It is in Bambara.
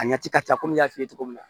A ɲɛci ka ca komi n y'a f'i ye cogo min na